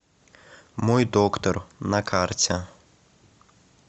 мой доктор на карте